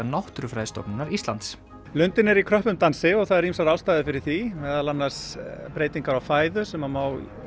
Náttúrufræðistofnunar Íslands lundinn er í kröppum dansi og það eru ýmsar ástæður fyrir því meðal annars breytingar á fæðu sem má